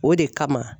O de kama